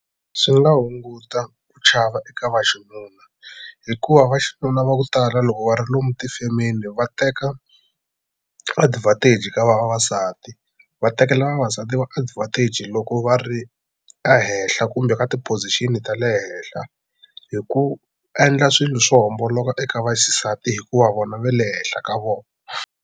Swi nga hunguta ku chava eka vaxinuna hikuva vaxinuna va ku tala loko va ri lomu tifemeni va teka advantage ka vavasati va tekela vavasati va advantage loko va ri ehenhla kumbe ka ti-position ta le henhla hi ku endla swilu swo homboloka eka vaxisati hikuva vona ve le henhla ka vona.